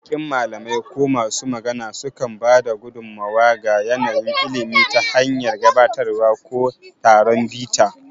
Baƙin malamai ko masu magana sukan ba da gudummawa ga yanayin ilimi ta hanyar gabatarwa ko taron bita.